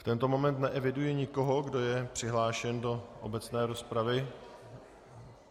V tento moment neeviduji nikoho, kdo je přihlášen do obecné rozpravy.